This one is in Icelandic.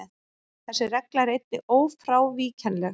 Þessi regla er einnig ófrávíkjanleg.